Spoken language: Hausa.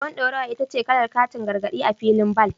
Ruwan dorawa ita ce kalar katin gargadi a filin bal.